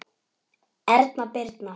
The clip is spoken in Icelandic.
Erna Birna.